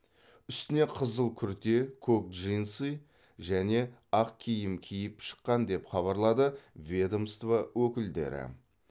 үстіне қызыл күрте көк джинсы және ақ киім киіп шыққан деп хабарлады ведомство өкілдері